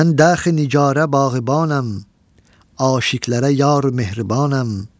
Mən daxı nigarə bağlıbanam, aşiqələrə yar mehribanam.